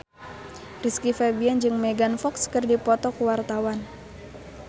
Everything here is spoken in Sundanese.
Rizky Febian jeung Megan Fox keur dipoto ku wartawan